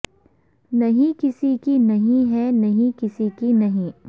نہیں کسی کی نہیں ہے نہیں کسی کی نہیں